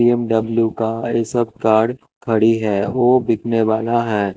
BMW का और ये सब कार खड़ी है वो बिकने वाला है।